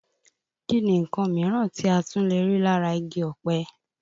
Kí ni nǹkan mìíràn tí a tún lè rí lára igi ọpẹ?